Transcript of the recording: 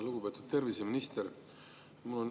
Lugupeetud terviseminister!